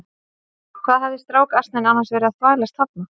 Hvað hafði strákasninn annars verið að þvælast þarna?